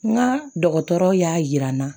N ka dɔgɔtɔrɔw y'a jira n na